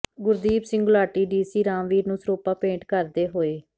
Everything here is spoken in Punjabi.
ਗੁਰਦੀਪ ਸਿੰਘ ਗੁਲਾਟੀ ਡੀਸੀ ਰਾਮਵੀਰ ਨੂੰ ਸਿਰੋਪਾ ਭੇਟ ਕਰਦੇ ਹੋਏ